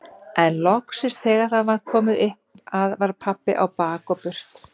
En loksins þegar það var komið upp að var pabbi á bak og burt.